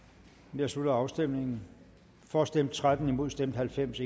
nu jeg slutter afstemningen for stemte tretten imod stemte halvfems